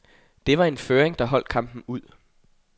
Det var en føring, der holdt kampen ud.